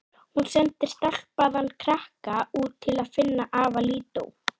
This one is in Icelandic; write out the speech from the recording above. Kamilla samsinnti því og leit með undarlegum hætti á Nikka.